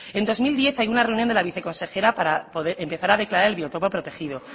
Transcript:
en dos mil diez hay una reunión de la viceconsejera para empezar a declarar el biotopo protegido